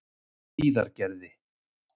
Hlíðargerði